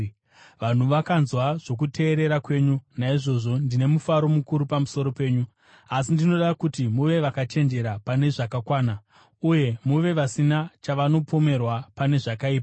Vanhu vakanzwa zvokuteerera kwenyu, naizvozvo ndine mufaro mukuru pamusoro penyu; asi ndinoda kuti muve vakachenjera pane zvakanaka, uye muve vasina chavanopomerwa pane zvakaipa.